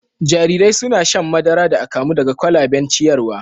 Jarirai suna shan madara da akamu daga kwalaben ciyarwa